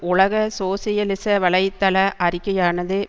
உலக சோசியலிச வலை தள அறிக்கையானது